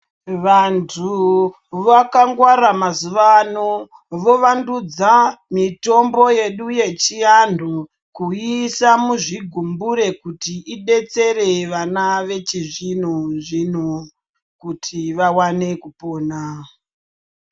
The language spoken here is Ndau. Vantu vakangwara mazuva ano vovandudza mitombo yedu yechianhu kuiisa muzvigumbure kuti idetsere vana vechizvino zvino kuti vawane kupona.